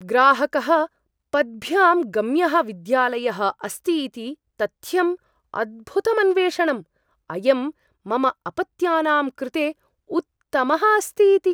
ग्राहकः पद्भ्यां गम्यः विद्यालयः अस्ति इति तथ्यम् अद्भुतम् अन्वेषणम्, अयं मम अपत्यानां कृते उत्तमः अस्ति इति।